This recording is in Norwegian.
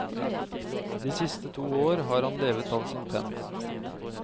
De siste to år har han levet av sin penn.